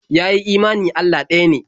Ya yi imani Allah ɗaya ne.